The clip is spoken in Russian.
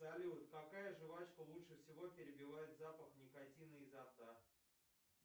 салют какая жвачка лучше всего перебивает запах никотина изо рта